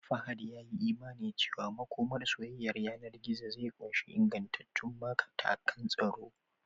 Fahad ya yi imanin cewa makomar soyayyar yanar gizo zai ƙunshi ingantattun matakan tsaro